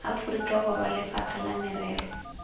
aforika borwa lefapha la merero